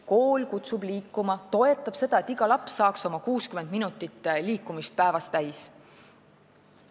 Kool kutsugu liikuma, toetagu seda, et iga laps saaks 60 minutit liikumist päevas täis.